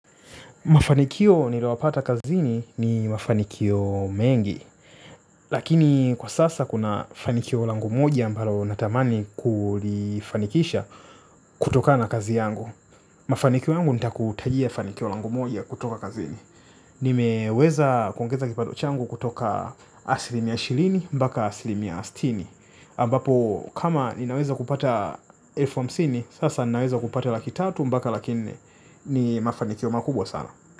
Mafanikio nilio yapata kazini ni mafanikio mengi, lakini kwa sasa kuna fanikio langu moja ambalo natamani kulifanikisha kutokana na kazi yangu. Mafanikio yangu nitakutajia fanikio langu moja kutoka kazini. Nime weza kuongeza kipato changu kutoka asilimia ishirini mpaka asilimia stini. Ambapo kama ninaweza kupata elfu hamsini sasa ninaweza kupata laki tatu mpaka laki nne ni mafanikio makubwa sana.